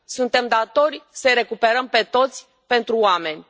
Suntem datori să i recuperăm pe toți, pentru oameni.